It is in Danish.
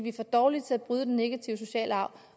er for dårlige til at bryde den negative sociale arv